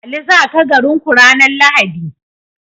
Ali zaka garin ku ranar lahadi?